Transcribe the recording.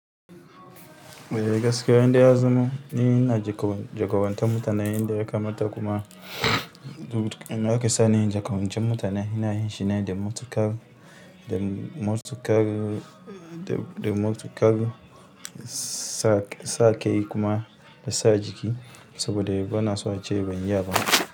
Eh gaskiya indai ya zama ni ina jaka-jakawanta mutane inda ya kamata kuma inada ake sa ni inyi jakawancen mutane ina yin shi ne da motuƙar, da motuƙar, da motuƙar sak sa kai kuma da sa jiki sabode bana so ace ban iya ba.